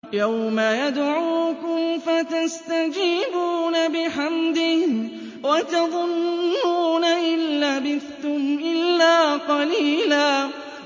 يَوْمَ يَدْعُوكُمْ فَتَسْتَجِيبُونَ بِحَمْدِهِ وَتَظُنُّونَ إِن لَّبِثْتُمْ إِلَّا قَلِيلًا